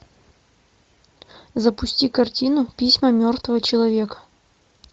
запусти картину письма мертвого человека